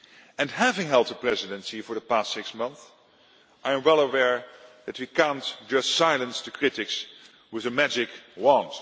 And having held the Presidency for the past six months, I am well aware that we cannot just silence the critics with a magic